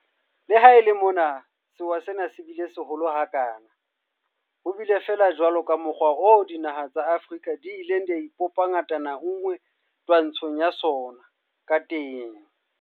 Le ha e le mona sewa sena se bile seholo ha kana, ho bile jwalo fela le ka mokgwa oo dinaha tsa Afrika di ileng tsa ipopa ngatana nngwe twantshong ya sona ka teng.